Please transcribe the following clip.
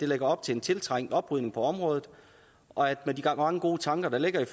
lægger op til en tiltrængt oprydning på området og med de mange gode tanker der ligger i